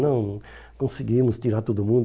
Não, conseguimos tirar todo mundo.